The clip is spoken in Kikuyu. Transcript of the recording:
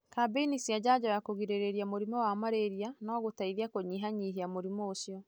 Kambeni cia njajo ya kũgirĩrĩria mũrimũ wa malaria no gũteithie kũnyihanyihia mũrimũ ũcio.